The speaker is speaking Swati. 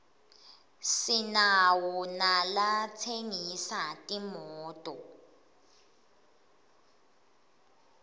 sinawo nalatsengisa timoto